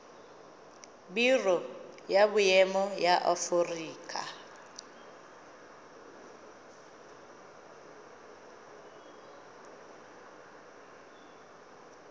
biro ya boemo ya aforika